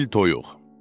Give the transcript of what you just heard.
Çil-çil toyuq.